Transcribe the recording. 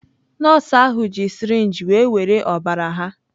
Nọọsụ ahụ ji sirinji were were ọbara ha.